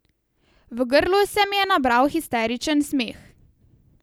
V grlu se mi je nabral histeričen smeh.